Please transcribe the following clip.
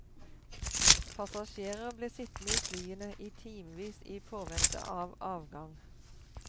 Passasjerer ble sittende i flyene i timevis i påvente av avgang.